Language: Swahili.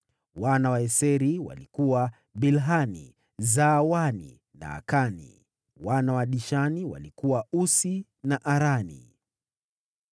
Wana wa Eseri walikuwa: Bilhani, Zaavani na Akani. Wana wa Dishani walikuwa: Usi na Arani.